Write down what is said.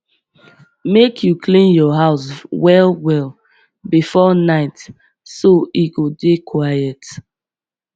make you clean your house well well before night so e go dey quiet